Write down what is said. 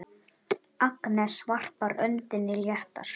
Agnes varpar öndinni léttar.